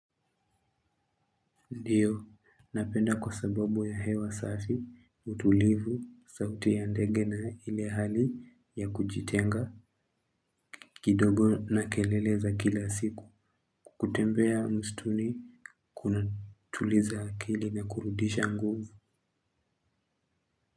Ndiyo, napenda kwa sababu ya hewa safi, utulivu, sauti ya ndege na ile hali ya kujitenga, kidogo na keleleza kila siku, kutembea msituni kuna tuliza akili na kurudisha nguvu.